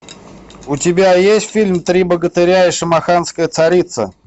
у тебя есть фильм три богатыря и шамаханская царица